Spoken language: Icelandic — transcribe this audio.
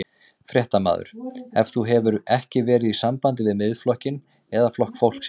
Fréttamaður: En þú hefur ekki verið í sambandi við Miðflokkinn eða Flokk fólksins?